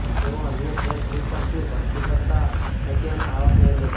તેઓ અન્ય સેલ્સ રિપર્સની ભરતી કરતા નથી અને આવક મેળવે છે